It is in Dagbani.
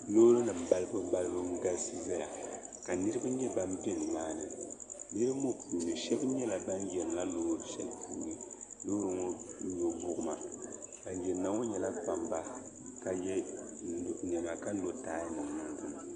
Loori nima balibu balibu n galisi zaya ka niriba yɛ bani bɛ ni maa ni niriba ŋɔ puuni shɛba yɛla bani yiri na loori shɛli puuni loori ŋɔ nyo buɣi ma bani yiri na ŋɔ yɛla kpamba ka yiɛ nɛma Ka lo taiyi nima niŋ dinni.